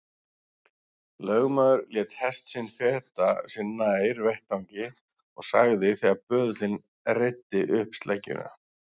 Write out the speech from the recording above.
Lögmaður lét hest sinn feta sig nær vettvangi og sagði þegar böðullinn reiddi upp sleggjuna